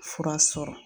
Fura sɔrɔ